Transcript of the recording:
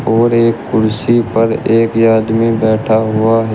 और एक कुर्सी पर एक आदमी में बैठा हुआ ह--